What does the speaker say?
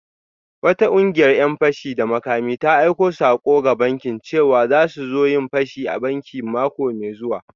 Wata kungiyar ‘yan fashi da makami ta aika sako ga bankin cewa za su zo su yi fashi a bankin mako mai zuwa